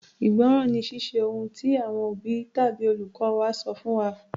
Ìgbọ́ràn ni Ṣíṣe ohun tí àwọn òbí tàbí olùkọ́ wa sọ fún wa.